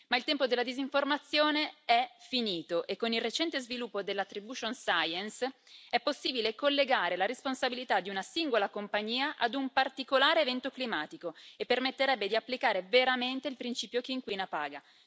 Ma il tempo della disinformazione è finito e con il recente sviluppo dell' attribution science è possibile collegare la responsabilità di una singola compagnia a un particolare evento climatico, e ciò permetterebbe di applicare veramente il principio chi inquina paga.